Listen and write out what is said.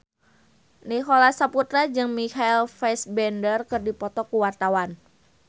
Nicholas Saputra jeung Michael Fassbender keur dipoto ku wartawan